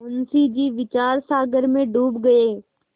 मुंशी जी विचारसागर में डूब गये